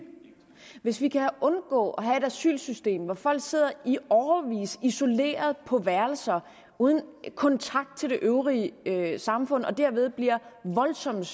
hvis vi kan undgå at have et asylsystem hvor folk sidder i årevis isoleret på værelser uden kontakt til det øvrige øvrige samfund og derved bliver voldsomt